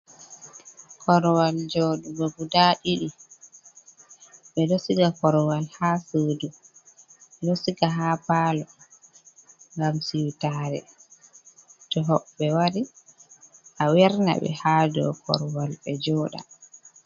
Korowal joɗugo guda ɗidi ɓe ɗo siga korowal ha sudu, ɓe ɗo siga ha palo ngam siutare to hoɓɓe wari a werna ɓe ha dow korowal ɓe joɗa.